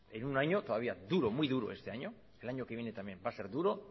en un año todavía duro muy duro este año el año que viene también va a ser duro